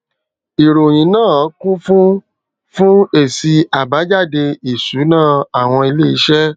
ìròyìn náà kún fún fún èsì àbájáde ìsúná àwọn ilé iṣé